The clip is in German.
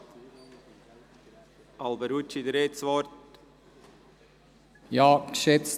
Grossrat Alberucci, Sie haben das Wort.